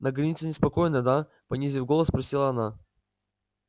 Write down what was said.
на границе неспокойно да понизив голос спросила она